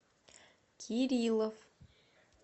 кириллов